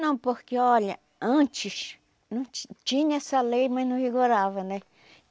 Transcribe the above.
Não, porque olha, antes não ti tinha essa lei, mas não rigorava, né?